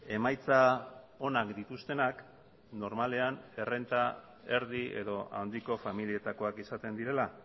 emaitza onak dituztenak normalean errenta erdi edo handiko familietakoak izaten direla